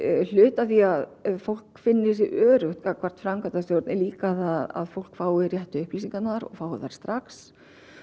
hluti af því að fólk finni sig öruggt gagnvart framkvæmdastjórn er líka að fólk fái réttu upplýsingarnar og fái þær strax